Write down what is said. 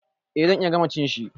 Eh zan iya gama cin shi.